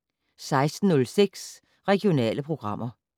16:06: Regionale programmer